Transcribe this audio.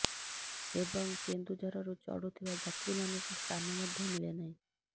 ଏବଂ କେନ୍ଦୁଝରରୁ ଚଢୁଥିବା ଯାତ୍ରୀ ମାନଙ୍କୁ ସ୍ଥାନ ମଧ୍ୟ ମିଳେ ନାହିଁ